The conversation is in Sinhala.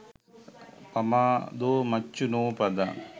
පමාදෝ මච්චුනෝ පදං